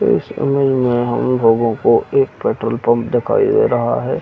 इस इमेज में हम लोगों को एक पेट्रोल पंप दिखाई दे रहा है।